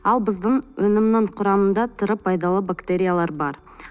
ал біздің өнімнің құрамында тірі пайдалы бактериялар бар